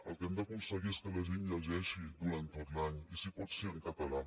el que hem d’aconseguir és que la gent llegeixi durant tot l’any i si pot ser en català